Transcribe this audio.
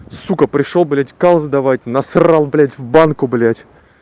сука пришёл блять калл сдавать насрал блять в банку блять